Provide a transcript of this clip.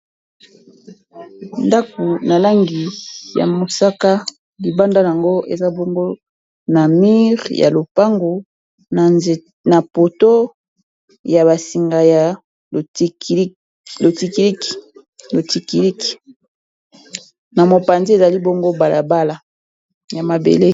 Ndako na langi ya mosaka libanda yango eza bongo na mire ya lopango na poto ya basinga ya lo tiiq o tikiiq na mopanzi ezali bongo balabala ya mabele.